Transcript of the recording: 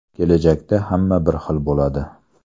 Kelajakda hamma bir xil bo‘ladi.